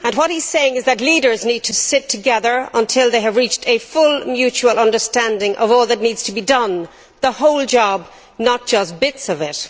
He says that leaders need to sit together until they have reached a full mutual understanding of all that needs to be done the whole job and not just bits of it.